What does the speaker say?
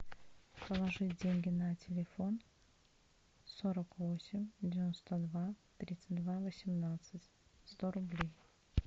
положить деньги на телефон сорок восемь девяносто два тридцать два восемнадцать сто рублей